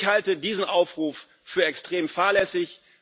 Ich halte diesen Aufruf für extrem fahrlässig.